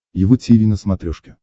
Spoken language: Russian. его тиви на смотрешке